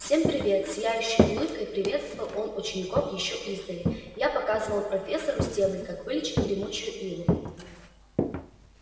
всем привет с сияющей улыбкой приветствовал он учеников ещё издали я показывал профессору стебль как вылечить гремучую иву